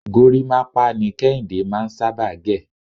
gorímápá ni Kéhìndé máà ń sábà gẹ̀..